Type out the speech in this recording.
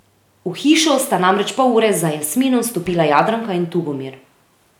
V hišo sta namreč pol ure za Jasminom vstopila Jadranka in Tugomir.